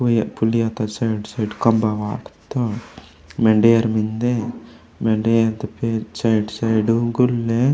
पुलिया ता side - side खम्बा वाटत्तोर मेंडे एयर मेन्दे मेंडे साइड - साइड उ गुलय --